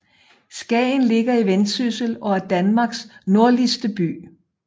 Skagen ligger i Vendsyssel og er Danmarks nordligste by